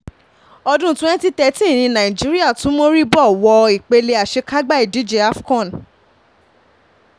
ọdún twenty thirteen ní nàìjíríà tún mọríbó wo ipele àṣekágbá ìdíje afcon